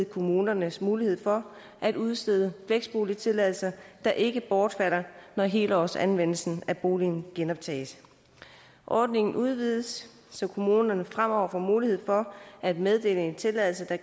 kommunerne mulighed for at udstede fleksboligtilladelser der ikke bortfalder når helårsanvendelsen af boligen genoptages ordningen udvides så kommunerne fremover får mulighed for at meddele en tilladelse der